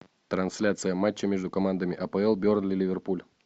трансляция матча между командами апл бернли ливерпуль